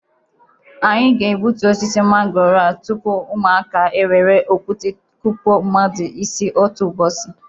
Anyị ga-ebutu osisi mangooro a tupu ụmụaka ewere okute kụwa mmadụ isi otu ụbọchi